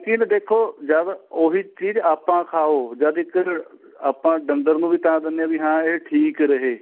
ਲੇਕਿਨ ਦੇਖੋ ਜਦ ਉਹੀ ਚੀਜ ਆਪਾਂ ਖਾਓ ਜਦ ਇੱਕ ਆਪਾਂ ਡੰਗਰ ਨੂੰ ਵੀ ਤਾਂ ਦਿੰਨੇ ਆ ਵੀ ਇਹ ਠੀਕ ਰਹੇ